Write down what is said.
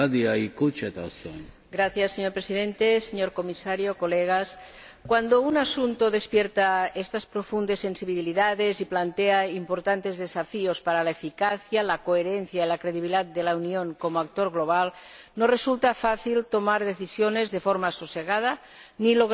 Señor Presidente, señor Comisario, colegas, cuando un asunto despierta estas profundas sensibilidades y plantea importantes desafíos para la eficacia, la coherencia y la credibilidad de la Unión como actor global, no resulta fácil tomar decisiones de forma sosegada ni lograr los deseables consensos,